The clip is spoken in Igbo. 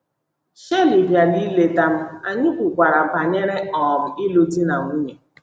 Shirley bịara ileta m, anyị kwukwara banyere um ịlụ di na nwunye.